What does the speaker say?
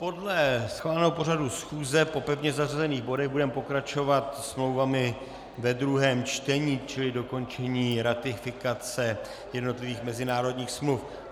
Podle schváleného pořadu schůze po pevně zařazených bodech budeme pokračovat smlouvami ve druhém čtení, čili dokončení ratifikace jednotlivých mezinárodních smluv.